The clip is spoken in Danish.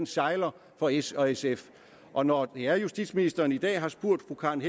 sejler for s og sf og når det er at justitsministeren i dag har spurgt fru karen